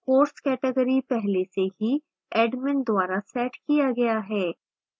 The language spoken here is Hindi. course category पहले से ही admin द्वारा set किया गया है